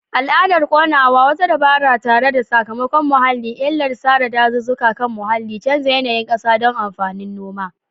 Al'adar ƙonawa, wata dabara tare da sakamakon muhalli. illar sare dazuzzuka kan muhalli, canza yanayin kasa don amfanin noma.